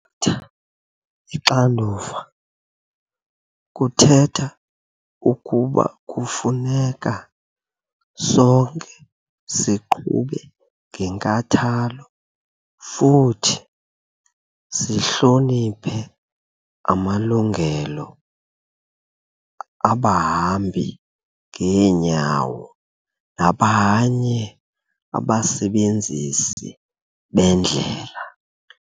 tha ixanduva kuthetha ukuba kufuneka sonke siqhube ngenkathalo futhi sihloniphe amalungelo abahambi ngeenyawo nabanye abasebenzisi bendlela.